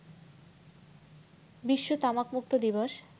বিশ্ব তামাকমুক্ত দিবস